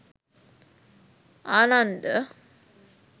Ananda